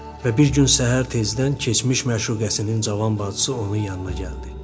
Və bir gün səhər tezdən keçmiş məşuqəsinin cavan bacısı onun yanına gəldi.